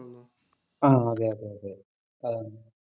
ആഹ് അതെ അതേ ആഹ്